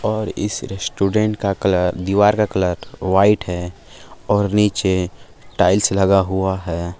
और इस रेस्टोरेंट का कलर दीवार का कलर व्हाइट है और नीचे टाइल्स लगा हुआ है।